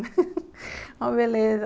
uma beleza.